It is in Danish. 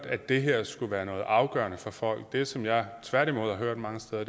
at det her skulle være noget afgørende for folk det som jeg tværtimod har hørt mange steder